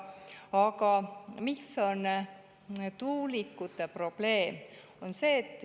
Aga mis on tuulikute probleem?